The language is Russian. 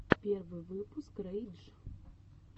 первый выпуск рэй дж